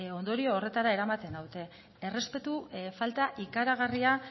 ondorio horretara eramaten naute errespetu falta ikaragarria